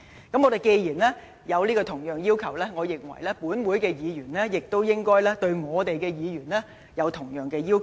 既然我們提出了這樣的要求，我認為亦應對各位議員有同樣的要求。